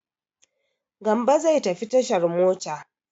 Gambo zai tafi tashar mota.